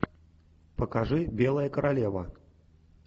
покажи белая королева